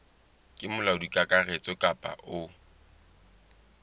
ke molaodi kakaretso kapa o